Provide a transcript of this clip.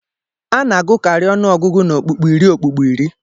A na-agụkarị ọnụọgụgụ n'ọkpụkpụ iri okpukpo iri